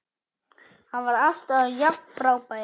Hann var alltaf jafn frábær.